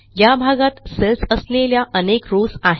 या भागात सेल्स असलेल्या अनेक रॉव्स आहेत